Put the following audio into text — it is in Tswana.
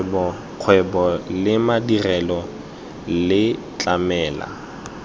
kgwebo le madirelo le tlamela